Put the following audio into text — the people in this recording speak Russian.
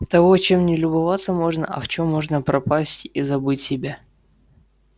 того чем не любоваться можно а в чём можно пропасть и забыть себя